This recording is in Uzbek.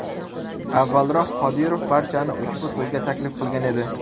Avvalroq, Qodirov barchani ushbu to‘yga taklif qilgan edi.